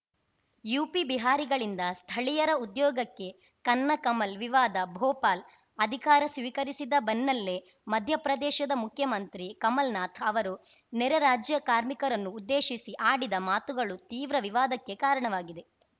UP ಬಿಹಾರಿಗಳಿಂದ ಸ್ಥಳೀಯರ ಉದ್ಯೋಗಕ್ಕೆ ಕನ್ನ ಕಮಲ್‌ ವಿವಾದ ಭೋಪಾಲ್‌ ಅಧಿಕಾರ ಸ್ವೀಕರಿಸಿದ ಬೆನ್ನಲ್ಲೇ ಮಧ್ಯಪ್ರದೇಶದ ಮುಖ್ಯಮಂತ್ರಿ ಕಮಲ್‌ನಾಥ್‌ ಅವರು ನೆರೆ ರಾಜ್ಯ ಕಾರ್ಮಿಕರನ್ನು ಉದ್ದೇಶಿಸಿ ಆಡಿದ ಮಾತುಗಳು ತೀವ್ರ ವಿವಾದಕ್ಕೆ ಕಾರಣವಾಗಿದೆ